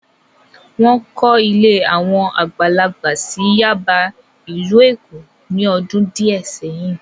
Wọ́n kọ́ ilé àwọn àgbàlagbà sí Yáàbá, ìlú Èkó ní ọdún díẹ̀ sẹ́yìn.